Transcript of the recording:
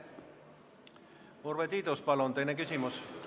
Urve Tiidus, palun, teine küsimus!